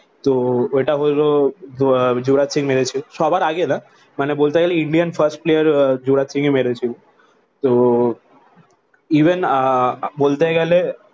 তো ওটা হলো যুবরাজ সিং মেরেছে। সবার আগে না মানে বলতে গেলে Indian first player যুবরাজ সিংই মেরেছিল। তো ইভেন আহ বলতে গেলে